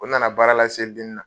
O na na baara la seli denin na.